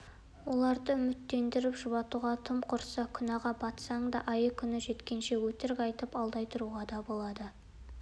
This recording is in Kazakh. оларды үміттендіріп жұбатуға тым құрыса күнәға батсаң да айы-күні жеткенше өтірік айтып алдай тұруға да болады